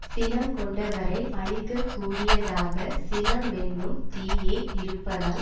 சினங்கொண்டவரை அழிக்க கூடியதாகச் சினமென்னும் தீயே இருப்பதால்